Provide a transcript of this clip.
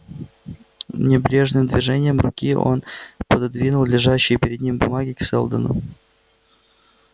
небрежным движением руки он пододвинул лежащие перед ним бумаги к сэлдону